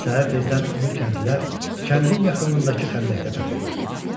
Səhər tezdən onu kəndlilər kəndin yaxınlığındakı xəndəkdə tapırlar.